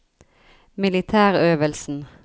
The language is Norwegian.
militærøvelsen